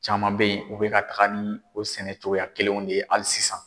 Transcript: Caman bɛ ye u bɛ ka taga ni o sɛnɛ cogoya kelenw de ye hali sisan.